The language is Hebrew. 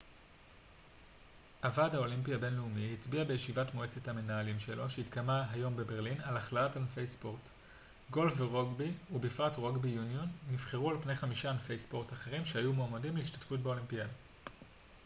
הוועד האולימפי הבינלאומי הצביע בישיבת מועצת המנהלים שלו שהתקיימה היום בברלין על הכללת ענפי ספורט גולף ורוגבי ובפרט רוגבי יוניון נבחרו על פני חמישה ענפי ספורט אחרים שהיו מועמדים להשתתפות באולימפיאדה